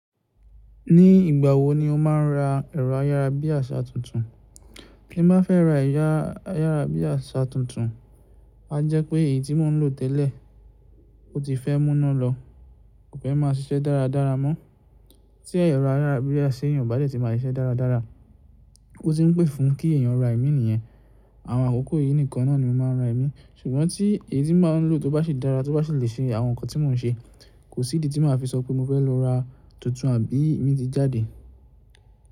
Ní ìgbà wo ni o máa ń ra ẹ̀rọ ayára bí àṣá tuntun? Tí mo bá fẹ́ ra ẹ̀rọ ayára bí àṣá tuntun, a jẹ́ pé èyí tí mò ń lò tẹ́lẹ̀, ó ti fẹ́ múná lọ, kò fẹ́ máa ṣiṣẹ́ dáradára mọ́. Tí ẹ̀rọ ayára bí àṣá ṣe yóò bá dẹ̀ tí máa ṣiṣẹ́ dáradára, ó ti ń pè fún kí ẹ̀yàn ra ẹ̀mí nìyẹn. Àwọn àkókò yìí nìkan náà ni mo máa ń ra ẹ̀mí. Ṣùgbọ́n tí èyí tí mò ń lò tó bá ṣe dára, tó bá sì lè ṣe àwọn nǹkan tí mò ń ṣe, kò sí idi tí màá fi sọ pé mo fẹ́ lọ ra tuntun àbí mí ti jáde.